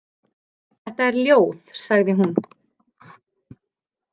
Þetta er ljóð, sagði hún.